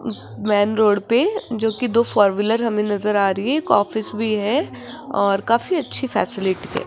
Man road पे जो कि दो फोर व्हीलर हमें नजर आ रही है एक ऑफिस भी है और काफी अच्छी फैसिलिटी है।